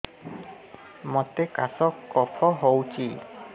ମୋତେ କାଶ କଫ ହଉଚି